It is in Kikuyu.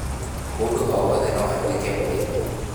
Mũndũ o wothe no atuĩke mũrĩmi